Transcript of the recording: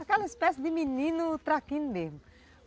Aquela espécie de menino traquino mesmo.